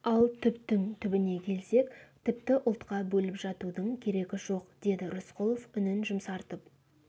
ал түптің түбіне келсек тіпті ұлтқа бөліп жатудың керегі жоқ деді рысқұлов үнін жұмсартып